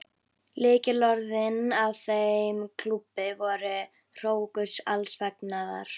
Lykilorðin að þeim klúbbi voru: hrókur alls fagnaðar.